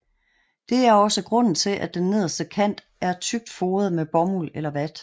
Det er også grunden til at den nederste kant er tykt foret med bomuld eller vat